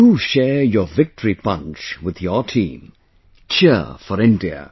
Do share your Victory Punch with your team...Cheer for India